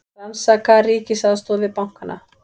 Rannsaka ríkisaðstoð við bankana